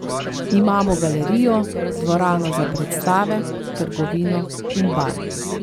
Imamo galerijo, dvorano za predstave, trgovino in bar.